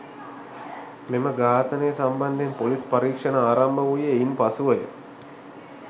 මෙම ඝාතනය සම්බන්ධයෙන් පොලිස්‌ පරීක්‍ෂණ ආරම්භ වූයේ ඉන් පසුවය.